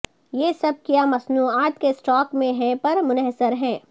یہ سب کیا مصنوعات کے اسٹاک میں ہیں پر منحصر ہے